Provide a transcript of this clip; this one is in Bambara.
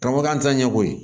Ka fɔ k'an t'a ɲɛ ko ye